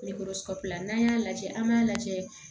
Nɛgɛkɔrɔsigila n'an y'a lajɛ an b'a lajɛ